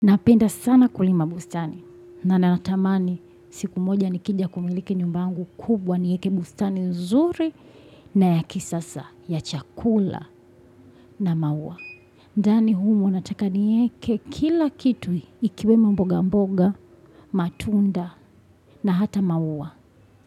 Napenda sana kulima bustani na nanatamani siku moja nikija kumiliki nyumba yangu kubwa niweke bustani nzuri, na ya kisasa ya chakula, na maua. Ndani humo nataka nieke kila kitu ikiwemo mboga mboga, matunda na hata maua.